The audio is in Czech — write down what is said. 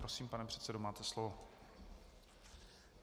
Prosím, pane předsedo, máte slovo.